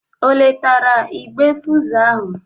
Ọ letara igbe fụzụ ahụ?